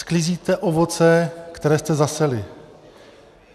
Sklízíte ovoce, které jste zaseli.